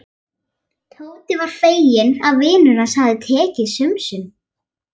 Tóti var feginn að vinur hans hafði tekið sönsum.